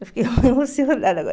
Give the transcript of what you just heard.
Eu fiquei emocionada agora.